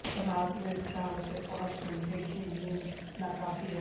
رات میں چار سے پانچ گھنٹے کی نیند ناکافی ہے